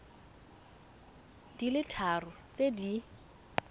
di le tharo tse di